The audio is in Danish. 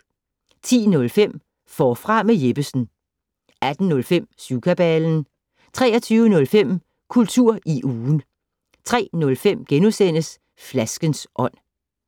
10:05: Forfra med Jeppesen 18:05: Syvkabalen 23:05: Kultur i ugen 03:05: Flaskens ånd *